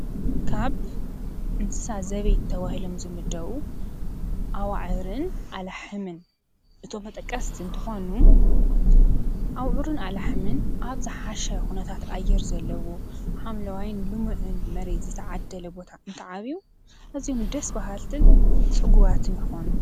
ካብ እንስሳ ዘቤት ተባሂሎም ዝምደቡ ኣዋዕርን ኣላሕምን እቶም መጠቀስቲ እንተኾኑ ኣውዕርን ኣላሕምን ኣብ ዝሓሻ ኹነታት ኣየር ዘለዎ ሓምለዋይን ልሙዕን መሬት ዝተዓደለ ቦታ እንትዓብዩ ኣዝዮም ደስ በሃልትን ጽጉባትን ይኾኑ።